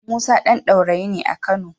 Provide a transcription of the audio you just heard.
Musa ɗan Daurayi ne a Kano.